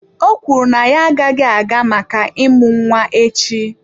Ọ kwuru na ya agaghị aga maka ịmụ nwa echi.